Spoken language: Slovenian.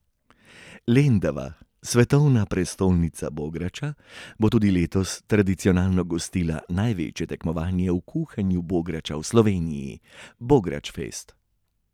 Lendava, svetovna prestolnica bograča, bo tudi letos tradicionalno gostila največje tekmovanje v kuhanju bograča v Sloveniji, Bogračfest.